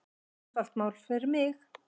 Einfalt mál fyrir mig.